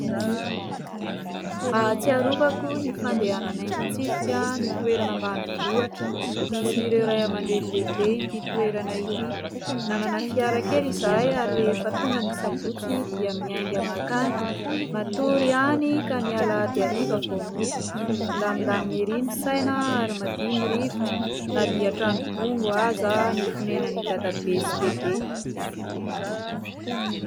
Ahatsiarovako ny fandehananay mitsidika ny toerana ambanivohatra misy ireo ray aman-dreny lehibe ity toerana ity. Nanana fiara kely izahay ary rehefa tonga ny sabotsy dia miainga mankany matory any ka ny alahady hariva vao mody. Milamindamina ery ny saina ary madio ny rivotra na dia trano bongo aza ny fonenan'i dadabe sy bebe.